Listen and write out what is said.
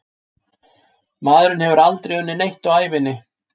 Maðurinn hefur aldrei unnið neitt á ævinni.